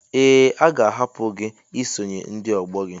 Ee, a ga-ahapụ gị isonye ndị ọgbọ gị.